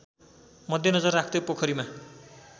मध्यनजर राख्दै पोखरीमा